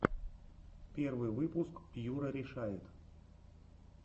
первый выпуск юрарешает